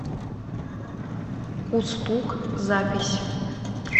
кустук запись